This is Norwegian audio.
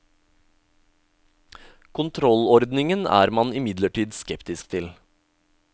Kontrollordningen er man imidlertid skeptisk til.